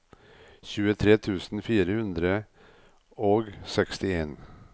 tjuetre tusen fire hundre og sekstien